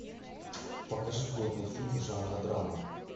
покажи годный фильм жанра драма